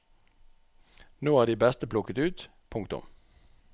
Nå er de beste plukket ut. punktum